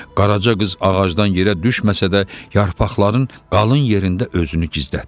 Qaraca qız ağacdan yerə düşməsə də, yarpaqların qalın yerində özünü gizlətdi.